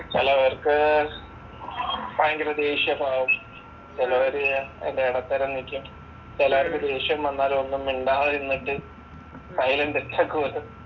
ചിലവർക്ക് ഭയങ്കര ദേക്ഷ്യ ഭാവം, ചിലവര് അതിൻ്റെ ഇടത്തരം നിക്കും, ചിലവർക്ക് ദേക്ഷ്യം വന്നാലും ഒന്നും മിണ്ടാത്തെ നിന്നിട്ട് സൈലന്റ്